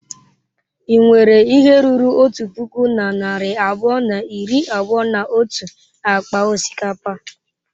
Ị nwere ihe ruru otu puku na narị abụọ na iri abụọ na otu akpa osikapa?